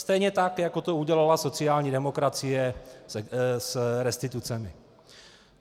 Stejně tak jako to udělala sociální demokracie s restitucemi.